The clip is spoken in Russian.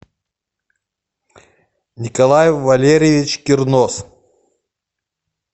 николай валерьевич кернос